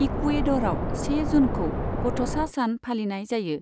इकुवेड'रआव से जुनखौ गथ'सा सान फालिनाय जायो।